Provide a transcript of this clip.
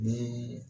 Ni